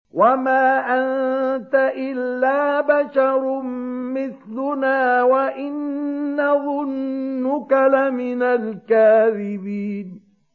وَمَا أَنتَ إِلَّا بَشَرٌ مِّثْلُنَا وَإِن نَّظُنُّكَ لَمِنَ الْكَاذِبِينَ